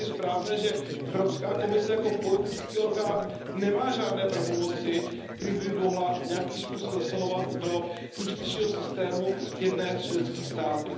Je tedy správné, že Evropská komise jako politický orgán nemá žádné pravomoci, kterými by mohla nějakým způsobem zasahovat do justičního systému jednoho z členských států.